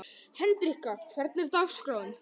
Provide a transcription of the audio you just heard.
Hendrikka, hvernig er dagskráin í dag?